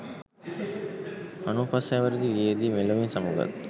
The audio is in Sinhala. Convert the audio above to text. අනූ පස් හැවිරිදි වියේදී මෙලොවින් සමු ගත්